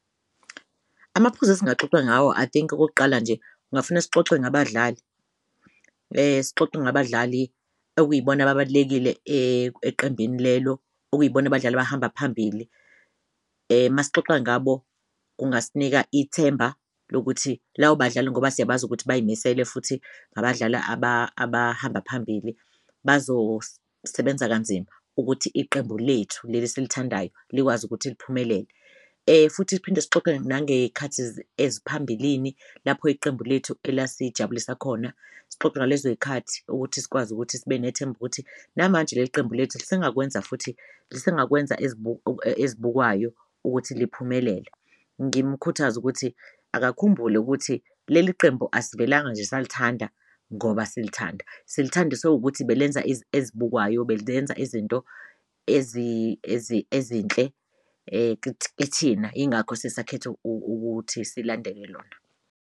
Amaphuzu esingaxoxa ngawo I think okokuqala nje kungafuna sixoxe ngabadlali sixoxe ngabadlali okuyibona ababalulekile eqembini lelo, okuyibona abadlali abahamba phambili uma sixoxa ngabo kungasinika ithemba lokuthi lawo badlale ngoba siyabazi ukuthi bayimisele futhi abadlali abahamba phambili bazosebenza kanzima ukuthi iqembu lethu leli esilithandayo likwazi ukuthi liphumelele. Futhi siphinde sixoxe nangey'khathi eziphambilini lapho iqembu lethu elasijabulisa khona, sixoxe ngalezo y'khathi ukuthi sikwazi ukuthi sibe nethemba ukuthi namanje leli qembu lethu lisengakwenza futhi lisengakwenza ezibukwayo ukuthi liphumelele. Ngimkhuthaze ukuthi akakhumbule ukuthi leli qembu asivelanga nje salithanda ngoba silithanda silithandiswe ukuthi belenza ezibukekayo, izinto ezinhle kuthina ingakho sisakhetha ukuthi silandele lona.